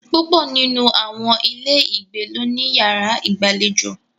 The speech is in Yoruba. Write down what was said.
Púpọ̀ nínú àwọn ilé ìgbé ló ní yàrá ìgbàlejò.